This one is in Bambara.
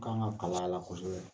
Kan ka kalan la kosɛbɛ.